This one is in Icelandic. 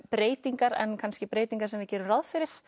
breytingar en kannski breytingar sem við gerum ráð fyrir